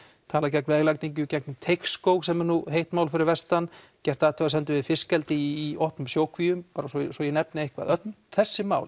talað gegn veglagningu í gegnum Teigskóg sem er nú heitt mál fyrir vestan gert athugasemdir við fiskeldi í opnum sjókvíum bara svo svo ég nefni eitthvað þessi mál